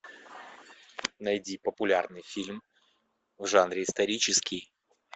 найди популярный фильм в жанре исторический